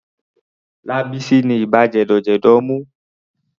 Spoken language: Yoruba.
Lábísí ni ibà jẹ̀dọ̀jẹ̀dọ̀ mú.